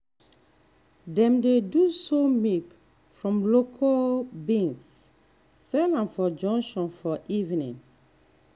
dem dey do soy milk from local beans sell am for junction for evening.